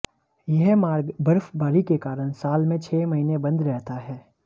यह मार्ग बर्फबारी के कारण साल में छह महीने बंद रहता है